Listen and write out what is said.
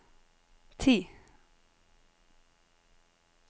ti